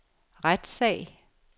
retssag